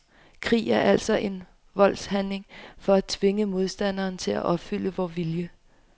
Krig er altså en voldshandling for at tvinge modstanderen til at opfylde vor vilje.